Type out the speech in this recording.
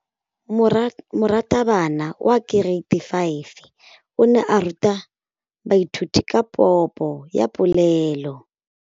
Moratabana wa kereiti ya 5 o ne a ruta baithuti ka popô ya polelô.